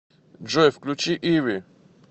джой включи иви